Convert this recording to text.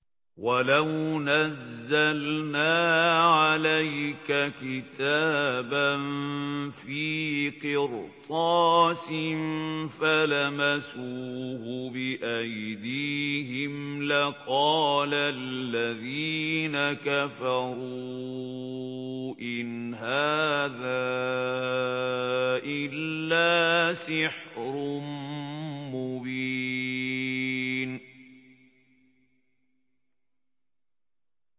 وَلَوْ نَزَّلْنَا عَلَيْكَ كِتَابًا فِي قِرْطَاسٍ فَلَمَسُوهُ بِأَيْدِيهِمْ لَقَالَ الَّذِينَ كَفَرُوا إِنْ هَٰذَا إِلَّا سِحْرٌ مُّبِينٌ